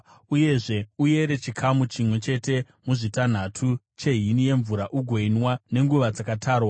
Uyezve, uyere chikamu chimwe chete muzvitanhatu chehini yemvura ugoinwa nenguva dzakatarwa.